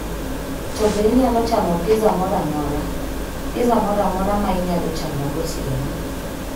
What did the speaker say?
To be inyalo chamo pizza moro amora? Pizza moro amora ma inyalo chamo gotieno